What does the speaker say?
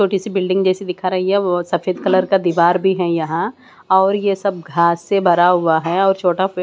जो किसी बिल्डिंग जैसी दिखा रहीं है वह सफेद कलर का दीवार भी है यहां और ये सब घास से भरा हुआ है और छोटा --